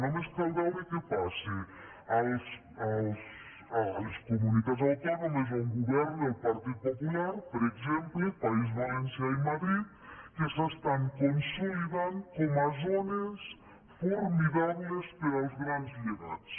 només cal veure què passa a les comunitats autònomes on governa el partit popular per exemple país valencià i madrid que s’estan consolidant com a zones formidables per als grans llegats